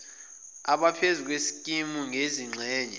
abaphezulu beskimu nezingxenye